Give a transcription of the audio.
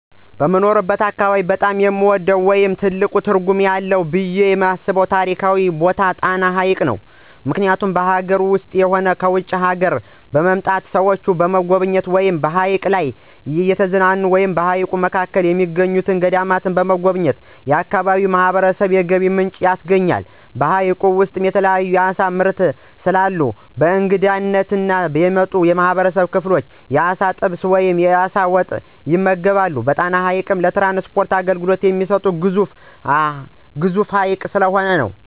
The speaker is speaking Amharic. በምኖርበት አካባቢ በጣም የምወደው ወይም ትልቅ ትርጉም አለው ብየ የማስበው ታሪካዊ ቦታ ጣና ሀይቅ ነው። ምክኒያቱም ከአገር ውስጥም ሆነ ከውጭ አገሮች በመምጣት ሰዎች በመጎብኘት ወይም በሀይቁ ላይ እየተዝናኑ እና በሀይቁ መካከል የሚገኙትን ገዳማት በመጎብኘት ለአካባቢው ማህበረሰብ የገቢ ምንጭ ያስገኛል። በሀይቁ ውስጥ የተለያዩ የአሳ ምርት ስለአለው በእንግድነት የመጡ የህብረተሰብ ክፍሎች የአሳ ጥብስ ወይም የአሳ ወጥ ይመገባሉ። ጣና ሀይቅ ለትራንስፖርት አገልግሎት የሚሰጥ ግዙፍ ሀይቅ ነው።